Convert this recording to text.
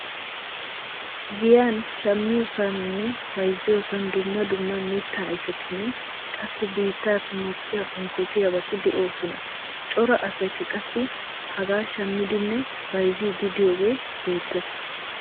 Giyaan shammiyoosaninne bayzziyoosan dumma dumma mittaa ayfetinne qassi biittaappe mokkiyaa unkkotiyaabati de'oosona. Cora asaykka qassi hagaa shammiidinne bayzziidi de'iyooge beettees.